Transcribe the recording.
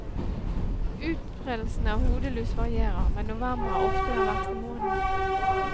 Utbredelsen av hodelus varierer, men november er ofte den verste måneden.